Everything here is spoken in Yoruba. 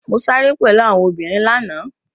Mo sáré pẹ̀lú àwọn obìnrin lánàá.